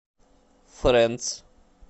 фрэндс